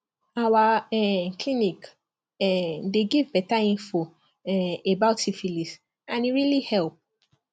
our um clinic um dey give better info um about syphilis and e really help